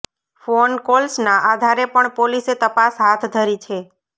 phone કોલ્સના આધારે પણ પોલીસે તપાસ હાથ ધરી છે